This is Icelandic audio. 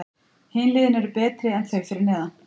Hin liðin eru betri en þau fyrir neðan.